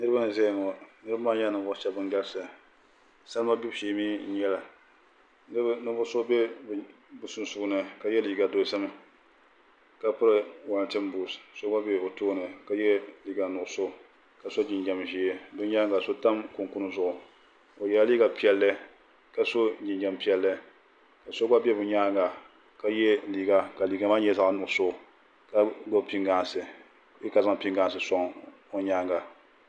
Niraba n ʒɛya ŋo niraba maa nyɛla ninvuɣu shab ban galisi salima gbibu shee mii n bala so bɛ bi nyaanga ka yɛ liiga dozim ka piri wolantin buut so gba bɛ o tooni ka yɛ liiga nuɣso ka so jinjɛm ʒiɛ bi nyaanga so tam kunkun zuɣuo yɛla liiga piɛlli ka so jinjɛm piɛlli ka so gba bɛ bi nyaanga ka yɛ liiga ka liiga maa nyɛ zaɣ nuɣso ka gbubi pingaasi bee ka zaŋ pingaasi soŋ o nyaanga